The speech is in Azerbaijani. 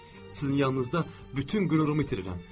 Sizin yanınızda bütün qürurumu itirirəm.